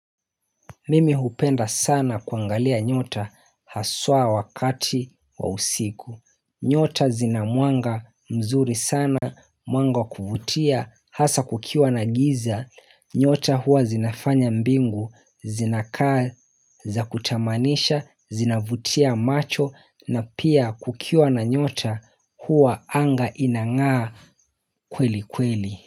Mimi hupenda sana kuangalia nyota haswa wakati wa usiku. Nyota zinamwanga mzuri sana, mwanga wa kuvutia, hasa kukiwa na giza. Nyota huwa zinafanya mbingu, zinakaa za kutamanisha, zinavutia macho na pia kukiwa na nyota huwa anga inangaa kweli kweli.